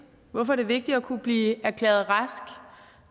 hvorfor er det vigtigt at kunne blive erklæret rask